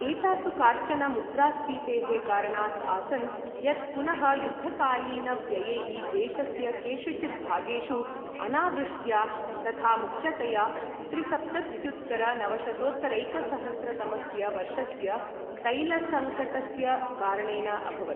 एतासु काश्चन मुद्रास्पीतेः कारणाद् आसन्, यत् पुनः युद्धकालीनव्ययैः, देशस्य केषुचित् भागेषु अनावृष्ट्या, तथा मुख्यतया, त्रिसप्तत्युत्तरनवशतोत्तरैकसहस्र तमस्य वर्षस्य तैलसङ्कटस्य कारणेन अभवत्।